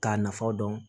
K'a nafa dɔn